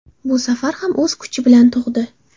Bu safar ham o‘z kuchi bilan tug‘di.